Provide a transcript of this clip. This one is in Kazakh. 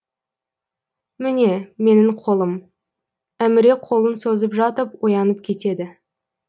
міне менің қолым әміре қолын созып жатып оянып кетеді